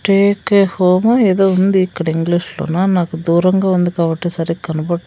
Take care home ఏదో ఉంది ఇక్కడ ఇంగ్లీషులోన నాకు దూరంగా ఉంది కాబట్టి సరిగ్గా కనపడట్లేదు.